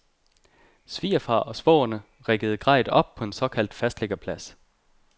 Svigerfar og svogerne riggede grejet op på en såkaldt fastliggerplads.